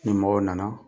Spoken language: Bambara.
Ni mɔgɔw nana